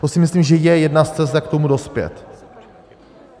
To si myslím, že je jedna z cest, jak k tomu dospět.